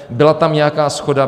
Byla tam nějaká shoda.